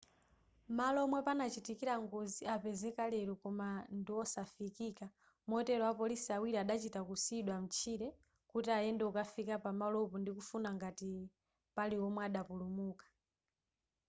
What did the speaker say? malo omwe panachitikira ngozi apezeka lero koma ndiwosafikika motero apolisi awiri adachita kusiyidwa mtchire kuti ayende kukafika pamalopo ndikufuna ngati pali omwe adapulumuka